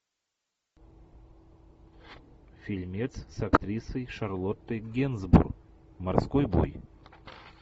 фильмец с актрисой шарлоттой генсбур морской бой